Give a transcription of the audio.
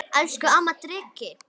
Elsku amma Dreki.